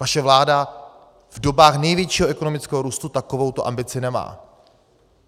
Vaše vláda v dobách největšího ekonomického růstu takovouto ambici nemá.